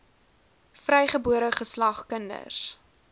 vrygebore geslag kinders